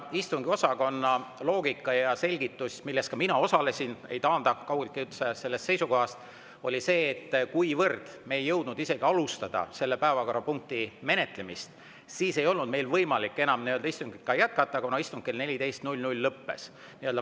Istungiosakonna loogika ja selgitus – ka mina osalesin selles, ma ei taanda ennast kaugeltki sellest seisukohast –, oli see, et kuivõrd me ei jõudnud isegi alustada selle päevakorrapunkti menetlemist, siis ei olnud meil võimalik enam istungit jätkata, kuna istung kell 14 lõppes.